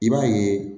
I b'a ye